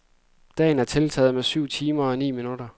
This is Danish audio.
Dagen er tiltaget med syv timer og ni minutter.